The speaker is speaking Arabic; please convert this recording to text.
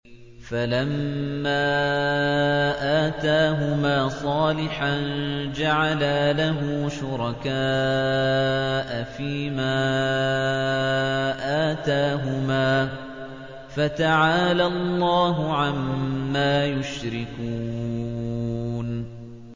فَلَمَّا آتَاهُمَا صَالِحًا جَعَلَا لَهُ شُرَكَاءَ فِيمَا آتَاهُمَا ۚ فَتَعَالَى اللَّهُ عَمَّا يُشْرِكُونَ